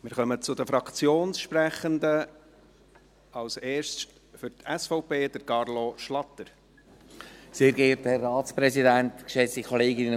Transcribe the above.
Wir kommen zu den Fraktionssprechenden: als erster Carlo Schlatter für die SVP.